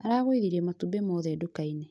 Aragũithirie matumbĩ mothe nduka-inĩ